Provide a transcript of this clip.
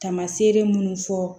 Tamaseere munnu fɔ